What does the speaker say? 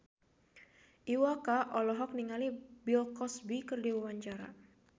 Iwa K olohok ningali Bill Cosby keur diwawancara